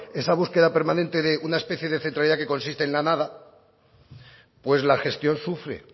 esa búsqueda permanente de una especie de centralidad que consiste en la nada pues la gestión sufre